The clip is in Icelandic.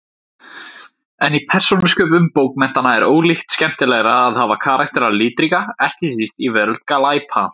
En í persónusköpun bókmenntanna er ólíkt skemmtilegra að hafa karakterana litríka, ekki síst í veröld glæpa.